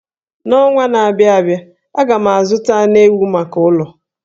N'ọnwa na-abịa abịa, aga m azụta anụ ewu maka ụlọ.